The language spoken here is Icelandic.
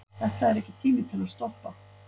Þetta er ekki tími til að stoppa.